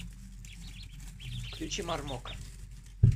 включи мармока